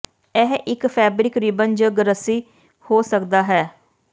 ਇਹ ਇੱਕ fabric ribbon ਜ ਰੱਸੀ ਹੋ ਸਕਦਾ ਹੈ